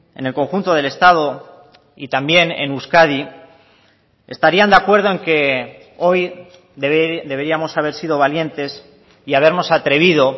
en el conjunto del estado y también en euskadi estarían de acuerdo en que hoy deberíamos haber sido valientes y habernos atrevido